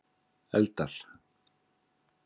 eldar